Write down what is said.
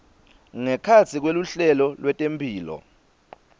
ngekhatsi kweluhlelo lwetemphilo